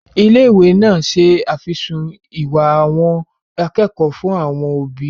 Ilé-ìwé náà se àfisùn ìwà àwọn akẹ́kọ̀ọ́ fún àwọn òbí wọn.